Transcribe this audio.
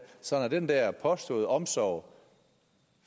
så den der påståede omsorg